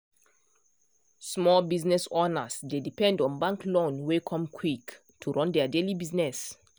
small business owners dey depend on bank loan wey come quick to run their daily business.